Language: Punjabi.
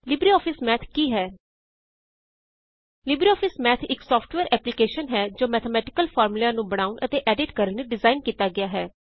ਲਿਬਰੇਆਫਿਸ ਮੈਥ ਕੀ ਹੈ ਲਿਬਰੇਆਫਿਸ ਮੈਥ ਇਕ ਸਾਫ਼੍ਟਵੇਅਰ ਐਪ੍ਲੀਕੇਸ਼ਨ ਹੈ ਜੋ ਮੈਥੇਮੈਟਿਕਲ ਫਾਰਮੂਲਿਆਂ ਨੂੰ ਬ੍ਣਾਓਣ ਅਤੇ ਐਡਿਟ ਕਰਨ ਲਈ ਡਿਜ਼ਾਇਨ ਕੀਤਾ ਗਿਆ ਹੈ